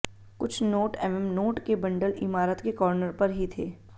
कुछ नोट एवं नोट के बंडल इमारत के कार्नर पर ही थे